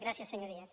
gràcies senyories